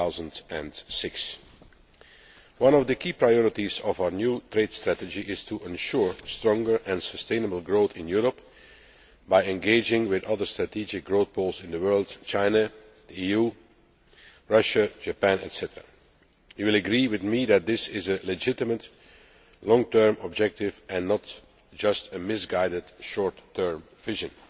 2006. One of the key priorities of our new trade strategy is to ensure stronger and sustainable growth in Europe by engaging with other strategic growth poles in the world China, Russia, Japan, etc. I am sure that Members will agree with me that this is a legitimate long term objective and not just a misguided short term vision.